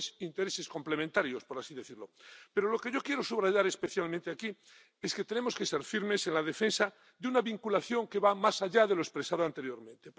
Son pues intereses complementarios, por así decirlo. Pero lo que yo quiero subrayar especialmente aquí es que tenemos que ser firmes en la defensa de una vinculación que vaya más allá de lo expresado anteriormente.